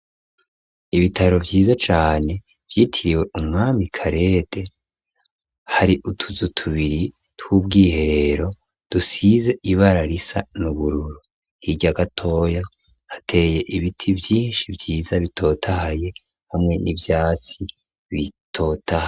Ibitaro vyiza cane vyitiriwe umwami karede hari utuzu tubiri tw'ubwiherero dusize ibara risa n'ubururu hirya gatoya hateye ibiti vyinshi vyiza bitotahaye hamwe n'ivyatsi bitotahaye.